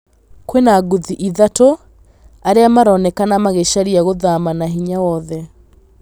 Kwĩna ngũthi ithatũ, arĩa maronekana magĩcaria gũthama na hinya wothe.